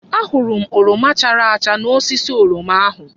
Ahụrụ m oroma chara acha n'osisi oroma ahụ.